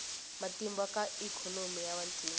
matimba ka ikhonomi ya vantima